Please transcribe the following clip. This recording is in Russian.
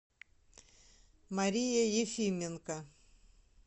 мария ефименко